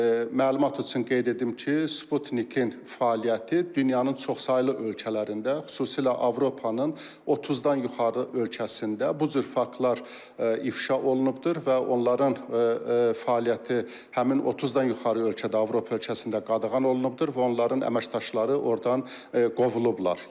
Məlumat üçün qeyd edim ki, Sputniqin fəaliyyəti dünyanın çoxsaylı ölkələrində, xüsusilə Avropanın 30-dan yuxarı ölkəsində bu cür faktlar ifşa olunubdur və onların fəaliyyəti həmin 30-dan yuxarı ölkədə, Avropa ölkəsində qadağan olunubdur və onların əməkdaşları ordan qovulublar.